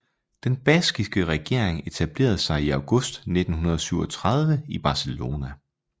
Den baskiske regering etablerede sig i august 1937 i Barcelona